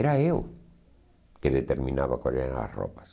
Era eu que determinava quais eram as roupas.